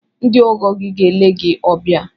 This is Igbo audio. Ndị ọgọ gị ga-ele gị obia